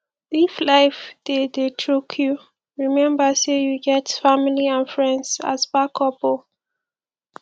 if life dey dey choke you remmba sey yu get family and friends as backup o